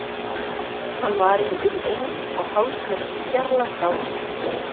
Hann var í um eins og hálfs metra fjarlægð frá mér.